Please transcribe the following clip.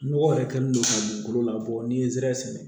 Nɔgɔ yɛrɛ kɛlen don ka dugukolo labɔ ni zɛrɛn sɛnɛ